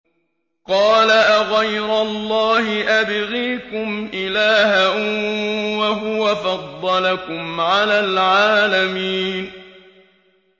قَالَ أَغَيْرَ اللَّهِ أَبْغِيكُمْ إِلَٰهًا وَهُوَ فَضَّلَكُمْ عَلَى الْعَالَمِينَ